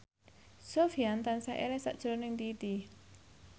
Sofyan tansah eling sakjroning Titi